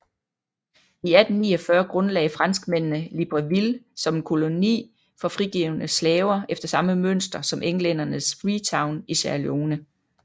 I 1849 grundlagde franskmændene Libreville som en koloni for frigivne slaver efter samme mønster som englændernes Freetown i Sierra Leone